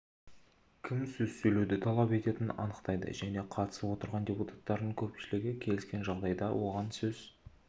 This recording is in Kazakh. кім сөз сөйлеуді талап ететінін анықтайды және қатысып отырған депутаттардың көпшілігі келіскен жағдайда оған сөз